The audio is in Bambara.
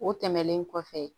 O tɛmɛnen kɔfɛ